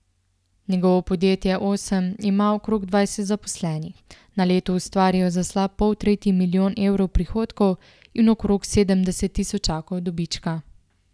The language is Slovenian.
Njegovo podjetje Osem ima okrog dvajset zaposlenih, na leto ustvarijo za slab poltretji milijon evrov prihodkov in okrog sedemdeset tisočakov dobička.